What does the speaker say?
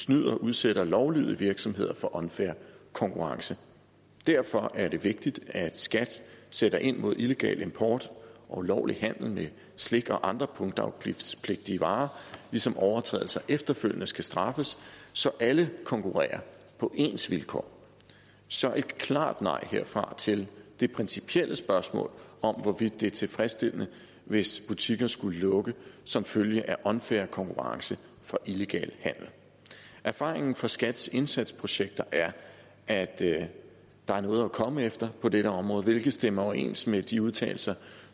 snyder udsætter lovlydige virksomheder for unfair konkurrence derfor er det vigtigt at skat sætter ind mod illegal import og ulovlig handel med slik og andre punktafgiftspligtige varer ligesom overtrædelser efterfølgende skal straffes så alle konkurrerer på ens vilkår så et klart nej herfra til det principielle spørgsmål om hvorvidt det er tilfredsstillende hvis butikker skulle lukke som følge af unfair konkurrence fra illegal handel erfaringen fra skats indsatsprojekter er at at der er noget at komme efter på dette område hvilket stemmer overens med de udtalelser